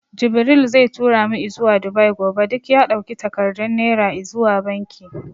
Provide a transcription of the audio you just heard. Jibril zai tura mu izuwa Dubai gobe. Duk ya ɗauki takardun Naira izuwa banki.